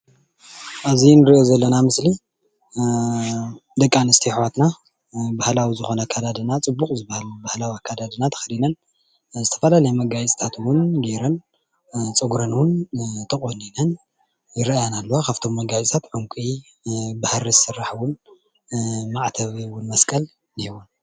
ኣብዚ ንሪኦ ዘለና ምስሊ ደቂ ኣንስትዮ ኣሕዋትና ባህላዊ ዝኾነ ኣካዳድና ፅቡቕ ዝባሃል ባህላዊ ኣካዳድና ተኸዲነን ዝተፈላለየ መጋየፅታት ውን ጌይረን፡፡ ፀጉረን ውን ተቖኒን ይረአያና ኣለዋ፡፡ ካብቶም መጋየፂታት ዕንቂ ብሃሪ ዝስራሕ ውን ማዕተብ ውን መስቀል እኒሀወን፡፡